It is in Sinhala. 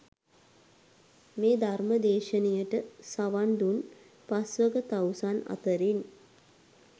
මේ ධර්ම දේශනයට සවන් දුන් පස්වග තවුසන් අතරින්